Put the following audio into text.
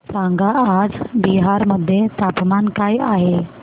सांगा आज बिहार मध्ये तापमान काय आहे